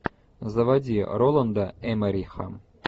заводи роланда эммериха